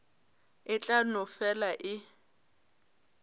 e tla no fela e